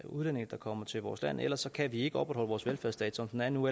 udlændinge der kommer til vores land ellers kan vi ikke opretholde vores velfærdsstat som den er nu